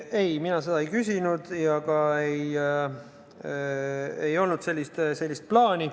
Ei, mina seda ei küsinud ja ei olnud ka sellist plaani.